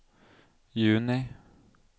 juni